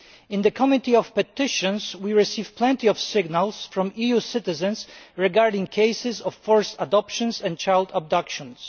In the Committee on Petitions we receive plenty of signals from EU citizens regarding cases of forced adoptions and child abductions.